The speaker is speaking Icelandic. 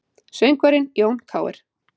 Söngvarinn Jón Kr